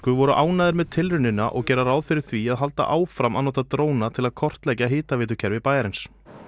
voru ánægðir með tilraunina og gera ráð fyrir því að halda áfram að nota dróna til að kortleggja hitaveitukerfi bæjarins